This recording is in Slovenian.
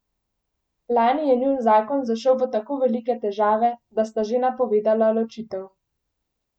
Lani je njun zakon zašel v tako velike težave, da sta že napovedala ločitev.